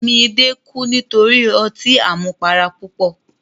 Midé kú nítorí ọtí àmupara púpọ̀.